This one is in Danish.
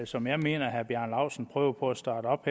som jeg mener herre bjarne laustsen prøver på at starte op